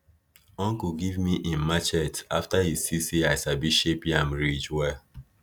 uncle give me him machete after e see say i sabi shape yam ridge well